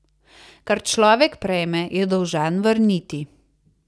Kar človek prejme, je dolžan vrniti.